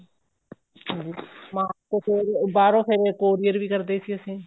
mask ਫ਼ੇਰ ਬਾਹਰੋਂ ਫ਼ੇਰ courier ਵੀ ਕਰਦੇ ਸੀ ਅਸੀਂ